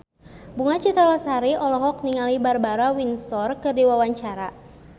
Bunga Citra Lestari olohok ningali Barbara Windsor keur diwawancara